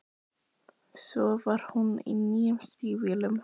Svo var hún í nýju stígvélunum.